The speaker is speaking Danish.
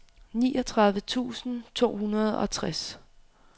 niogtredive tusind to hundrede og tres